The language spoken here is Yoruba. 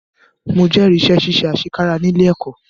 Mo jẹ́rìí sí iṣẹ́ àṣekára ní ilé ẹ̀kọ́.